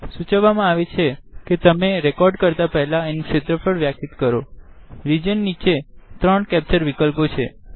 સુચવા માં આવે છે કે રેકોડીંગ કરતા પહેલા તેનું સિદ્ધફળ વ્યખિત કરોરીજન નીચે ત્રણ કેપ્ચર વિકલ્પો છે